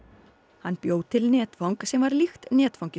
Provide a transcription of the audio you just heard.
hann bjó til netfang sem var líkt netfangi